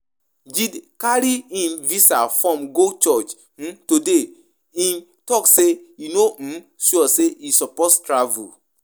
Jide carry im visa form go church today, im talk say e no sure say e suppose travel